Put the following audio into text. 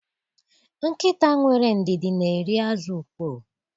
Nkịta nwere ndidi n’eri azu mkpoo